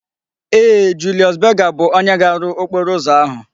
Ee, Julius Berger bu onye ga-aru okporo uzo ahu